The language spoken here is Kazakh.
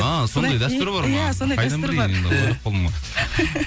а сондай дәстүр бар иә сондай дәстүр бар